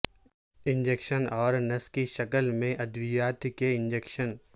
injection اور نس کی شکل میں ادویات کے انجکشن